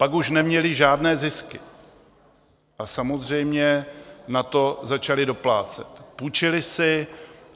Pak už neměly žádné zisky a samozřejmě na to začaly doplácet, půjčily si.